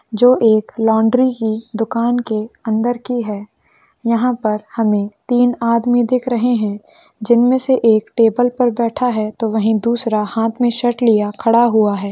जो एक लॉन्डरी की दुकान की अंदर की है यहां पर हमे तीन आदमी दिख रहे है जिनमे से एक टेबल पर बैठा हैं तो वही दूसरा हाथ मे सर्ट लिए खड़ा है।